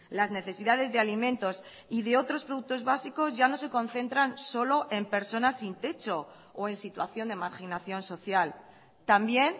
las necesidades de alimentos y de otros productos básicos ya no se concentran solo en personas sin techo o en situación de marginación social también